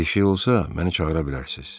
Bir şey olsa, məni çağıra bilərsiz.